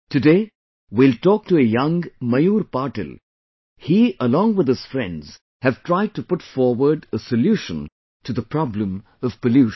Today we will talk to a young Mayur Patil, he along with his friends have tried to put forward a solution to the problem of pollution